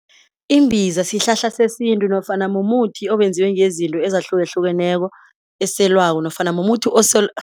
Imbiza sihlahla sesintu nofana mumuthi owenziwe ngezinto ezahlukahlukeneko esiselwako nofana mumuthi